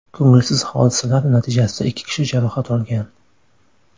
Ko‘ngilsiz hodisalar natijasida ikki kishi jarohat olgan.